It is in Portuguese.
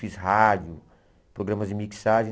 Fiz rádio, programas de mixagem.